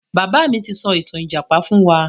Bàbá mi ti sọ ìtàn ìjàpá fún wa.